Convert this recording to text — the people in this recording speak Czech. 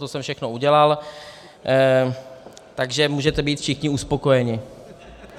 To jsem všechno udělal, takže můžete být všichni uspokojeni.